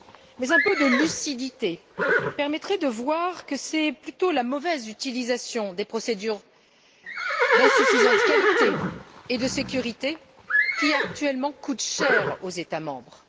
Mais un peu de lucidité permettrait de voir que c'est plutôt la mauvaise utilisation des procédures insuffisantes sur le plan de la qualité et de la sécurité qui, actuellement, coûte cher aux États membres.